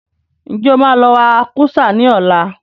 Ǹjẹ́ o má lọ wa kúsá ní ọ̀la?